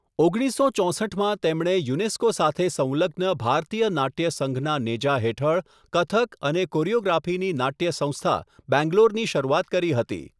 ઓગણીસસો ચોસઠમાં તેમણે યુનેસ્કો સાથે સંલગ્ન ભારતીય નાટ્ય સંઘના નેજા હેઠળ કથક અને કોરિયોગ્રાફીની નાટ્ય સંસ્થા, બેંગલોરની શરૂઆત કરી.